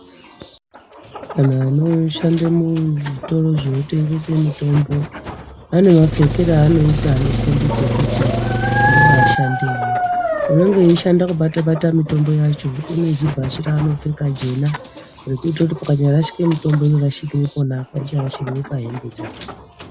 Anhu anoshande muzvitoro zvinotengese mitombo anemapfekere anoita anokombidze kuti ndiwo ashandi emwo unenge eishanda kubatebate mitombo yacho unezibhachi raanopfeka jena rekuitikire kuti pakanyarashikire mitombo inorashikire pona apa aicharashikiri pahembe dzake.